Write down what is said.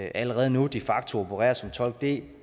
allerede nu de facto opererer som tolk det